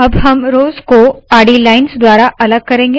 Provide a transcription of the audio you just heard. अब हम रोव्स को आडी लाइन्स द्वारा अलग करेंगे